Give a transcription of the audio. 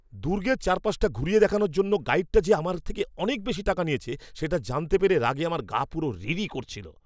দুর্গের চারপাশটা ঘুরিয়ে দেখানোর জন্য গাইডটা যে আমার থেকে অনেক বেশি টাকা নিয়েছে সেটা জানতে পেরে রাগে আমার গা পুরো রিরি করছিল।